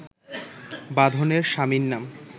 বাঁধনের স্বামীর নাম